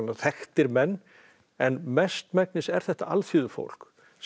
þekktir menn en mestmegnis er þetta alþýðufólk sem